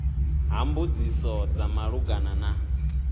ha mbudziso dza malugana na